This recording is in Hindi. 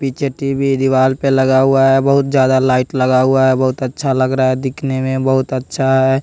पीछे टी_वी दीवार पे लगा हुआ है बहुत ज्यादा लाइट लगा हुआ है बहुत अच्छा लग रहा है दिखने में बहुत अच्छा है।